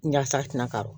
Yaasa a tina ka